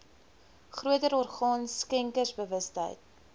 groter orgaan skenkersbewustheid